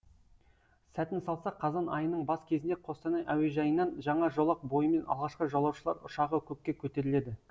сәтін салса қазан айының бас кезінде қостанай әуежайынан жаңа жолақ бойымен алғашқы жолаушылар ұшағы көкке көтеріледі